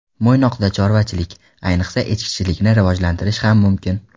Mo‘ynoqda chorvachilik, ayniqsa, echkichilikni rivojlantirish ham mumkin.